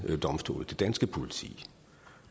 domstole det danske politi